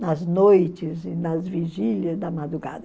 nas noites e nas vigílias da madrugada.